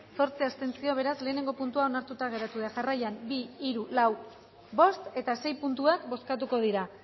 zortzi abstentzio beraz lehenengo puntua onartuta geratu da jarraian bi hiru lau bost eta sei puntuak bozkatuko dira